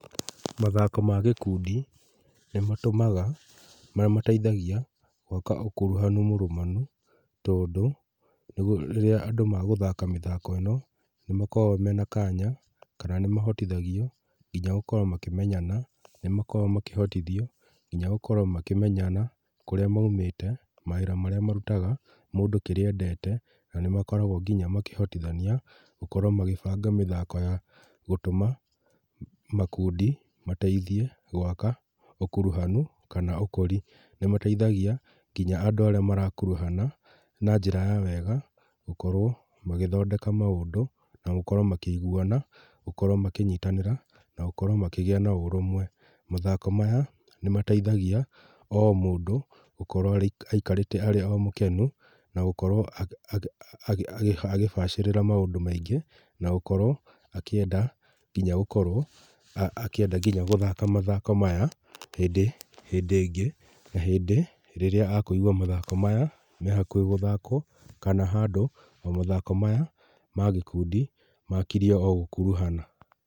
Mathako ma gĩkundi nĩmatũmaga, nĩmateithagia gwaka ũkuruhanu mũrũmanu tondũ rĩrĩa andũ magũthaka mĩthako ĩno nĩmakoro mena kanya kana nĩmahotithagio nginya gũkorwo makĩmenyana, nĩmakoro makĩhotithio nginya gũkorwo makĩmenyana kũrĩa maumĩte, mawĩra marĩa marutaga, mũndũ kĩrĩa endete, na nĩmakoragwo nginya makĩhotithania gũkorwo magĩbanga mĩthako ya gũtũma makũndi mateithie gwaka ũkuruhanu kana ũkũri. Nĩmateithagia nginya andũ arĩa marakuruhana na njĩra ya wega gũkorwo magĩthondeka maũndũ na gũkorwo makĩiguana, gũkorwo makĩnyitanĩra na gũkorwo makĩgĩa na ũrũmwe. Mathako maya nĩmateithagia o mũndũ gũkorwo aikarĩte arĩ o mũkenu na gũkorwo agĩbacĩrĩra maũndũ maingĩ na gũkorwo akĩenda nginya gũkorwo, akĩenda nginya gũthaka mathako maya hĩndĩ, hĩndĩ ĩngĩ na hĩndĩ rĩrĩa akũigwa mathako maya mehakuhĩ gũthakwo kana handũ mathako maya ma gĩkundi makirie o gũkuruhana.